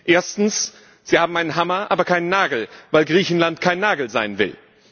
Erstens Sie hat einen Hammer, aber keinen Nagel, weil Griechenland kein Nagel sein will.